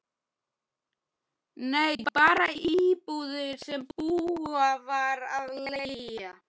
Nei, bara íbúðir sem búið var að leigja